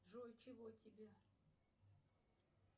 джой чего тебе